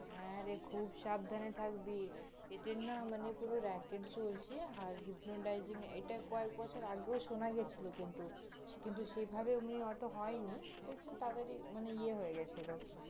হ্যাঁরে খুব সাবধানে থাকবি, এদের না পুরো মানে racket চলছে, আর hypnotising এটা কয়েক বছর আগেও শুনা গিয়েছিল কিন্তু, কিন্তু সেভাবে ওমনি হয়ত এত হয়নি, তাদের ই মানে ইয়ে হয়ে গিয়েছিল